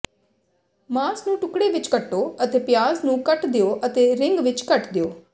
ਮਾਸ ਨੂੰ ਟੁਕੜੇ ਵਿੱਚ ਕੱਟੋ ਅਤੇ ਪਿਆਜ਼ ਨੂੰ ਕੱਟ ਦਿਓ ਅਤੇ ਰਿੰਗ ਵਿੱਚ ਕੱਟ ਦਿਓ